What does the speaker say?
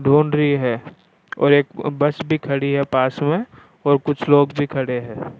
ढूंढरी है और एक बस भी खड़ी है पास में और कुछ लोग भी खड़े है।